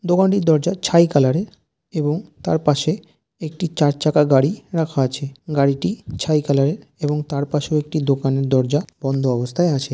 দোকানটির দরজার ছাই কালার এর এবং তার পাশে একটি চার চাকা গাড়ি রাখা আছে. গাড়িটি ছাই কালার এর এবং তার পাশে একটি দোকানের দরজা বন্ধ অবস্থায় আছে।